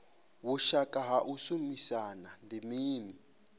vhushaka ha u shumisana ndi mini